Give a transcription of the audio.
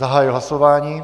Zahajuji hlasování.